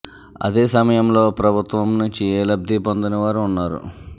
అదే సమయంలో ప్రభుత్వం నుంచి ఏ లబ్ది పొందని వారు ఉన్నారు